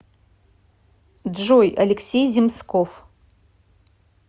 джой алексей земсков